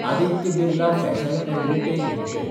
Aditya Birla fashion & retail limited